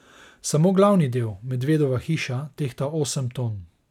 Samo glavni del, medvedova hiša, tehta osem ton.